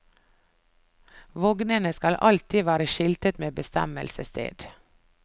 Vognene skal alltid være skiltet med bestemmelsessted.